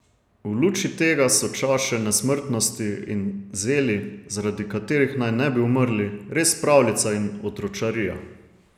V luči tega so čaše nesmrtnosti in zeli, zaradi katerih naj ne bi umrli, res pravljica in otročarija.